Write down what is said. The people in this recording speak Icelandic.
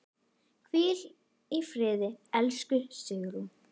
Hvíl í friði, elsku Sigrún.